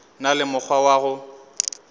na le mokgwa wa go